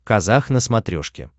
казах на смотрешке